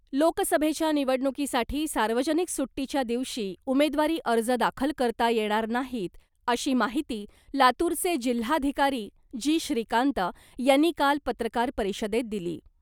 लोकसभेच्या निवडणुकीसाठी सार्वजनिक सुट्टीच्या दिवशी उमेदवारी अर्ज दाखल करता येणार नाहीत अशी माहिती लातूरचे जिल्हाधिकारी जी श्रीकांत यांनी काल पत्रकार परिषदेत दिली .